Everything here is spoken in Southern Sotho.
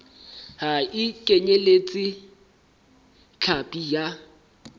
ha e kenyeletse hlapi ya